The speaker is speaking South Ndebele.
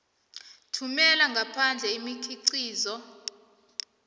thumela ngaphandle imikhiqizo